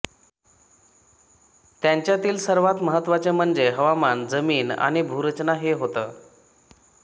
त्यांच्यातील सर्वांत महत्त्वाचे म्हणजे हवामान जमीन आणि भूरचना हे होत